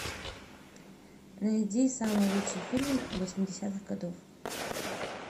найди самый лучший фильм восьмидесятых годов